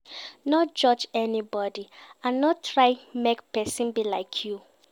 No judge anybody and no try make persin be like you